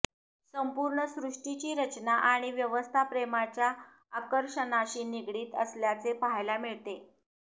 संपूर्ण सृष्टीची रचना आणि व्यवस्था प्रेमाच्या आकर्षणाशी निगडीत असल्याचे पाहायला मिळते